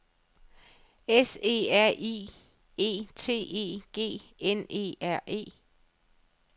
S E R I E T E G N E R E